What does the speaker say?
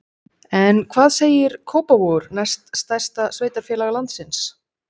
En hvað segir Kópavogur, næst stærsta sveitarfélag landsins?